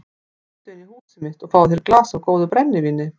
Komdu inn í húsið mitt og fáðu þér í glas af góðu brennivíni.